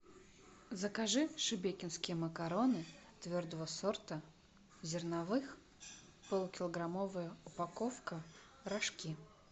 закажи шебекинские макароны твердого сорта зерновых полукилограммовая упаковка рожки